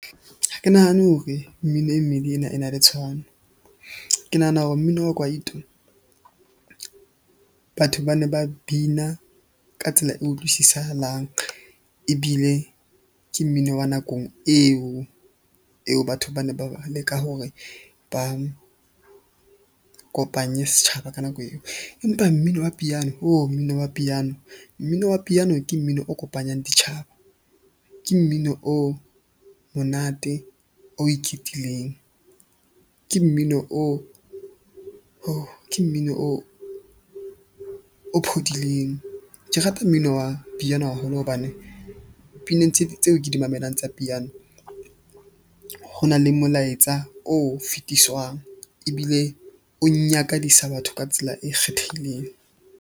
Ha ke nahane hore mmino e mmedi ena e na le tshwano. Ke nahana hore mmino wa kwaito. Batho ba ne ba bina ka tsela e utlwisisahalang ebile ke mmino wa nakong eo eo batho ba ne ba leka hore ba kopanye setjhaba ka nako eo. Empa mmino wa piano mmino wa piano, mmino wa piano ke mmino o kopanyang ditjhaba. Ke mmino o monate o ke mmino, o ke mmino o phodileng. Ke rata mmino wa piano haholo hobane pineng tseo ke di mamelang tsa piano. Ho na le molaetsa o fetiswang ebile o nyakadisa batho ka tsela e kgethehileng.